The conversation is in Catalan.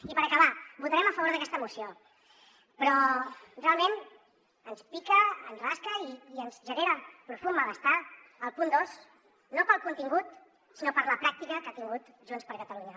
i per acabar votarem a favor d’aquesta moció però realment ens pica ens rasca i ens genera profund malestar el punt dos no pel contingut sinó per la pràctica que ha tingut junts per catalunya